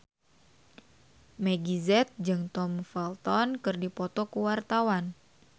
Meggie Z jeung Tom Felton keur dipoto ku wartawan